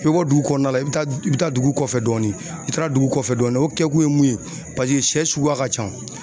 I bɛ bɔ dugu kɔnɔna la i bɛ taa i bɛ taa dugu kɔfɛ dɔɔnin i taara dugu kɔfɛ dɔɔnin o kɛkun ye mun ye paseke sɛ suguya ka ca.